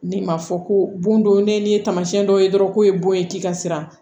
Ni m'a fɔ ko bon don ne nin ye taamasiyɛn dɔ ye dɔrɔn ko ye bon ye t'i ka siran